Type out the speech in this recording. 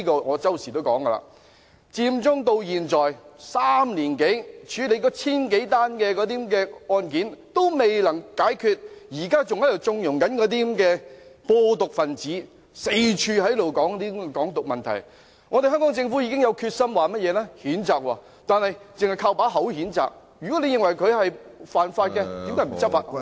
我經常說，佔中至今已3年多，那千多宗案件還未完成處理，現在還在縱容那些"播毒"分子四處談論"港獨"問題，香港政府說已經有決心譴責，但只是單憑空談，如果認為他們犯法，為何不執法呢？